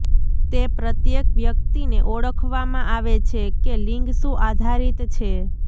તે પ્રત્યેક વ્યક્તિને ઓળખવામાં આવે છે કે લિંગ શું આધારિત છે